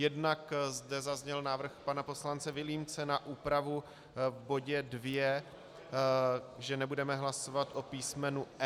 Jednak zde zazněl návrh pana poslance Vilímce na úpravu v bodě 2, že nebudeme hlasovat o písmenu e) -